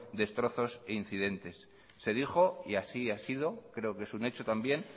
destrozos e incidentes se dijo y así ha sido creo que es un hecho también